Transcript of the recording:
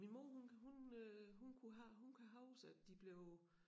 Min mor hun hun øh hun kunne hun kan huske at de blev